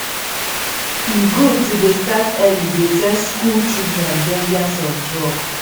e good to dey start early dey tell skool children dangers of drug